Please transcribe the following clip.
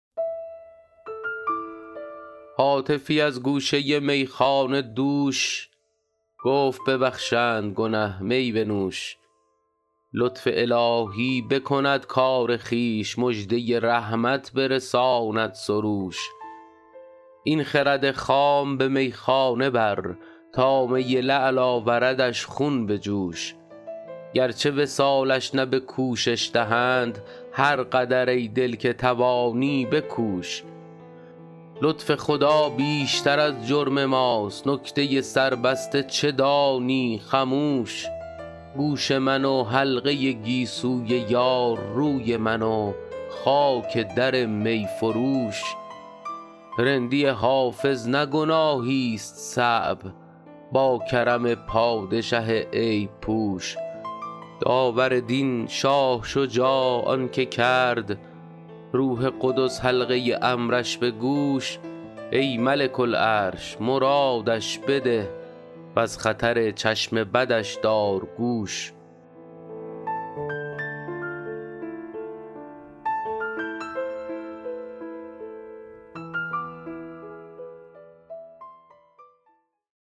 هاتفی از گوشه میخانه دوش گفت ببخشند گنه می بنوش لطف الهی بکند کار خویش مژده رحمت برساند سروش این خرد خام به میخانه بر تا می لعل آوردش خون به جوش گرچه وصالش نه به کوشش دهند هر قدر ای دل که توانی بکوش لطف خدا بیشتر از جرم ماست نکته سربسته چه دانی خموش گوش من و حلقه گیسوی یار روی من و خاک در می فروش رندی حافظ نه گناهیست صعب با کرم پادشه عیب پوش داور دین شاه شجاع آن که کرد روح قدس حلقه امرش به گوش ای ملک العرش مرادش بده و از خطر چشم بدش دار گوش